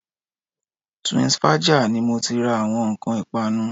Twinsfaja ni mo ti ń ra àwọn nǹkan ìpanu